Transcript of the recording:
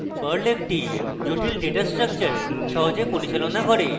perl একটি জটিল data structure সহজে পরিচালনা করে